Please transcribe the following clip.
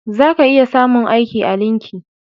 Za ka iya samun aiki a linki